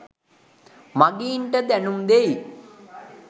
මගීන්ට දැනුම් දෙයි.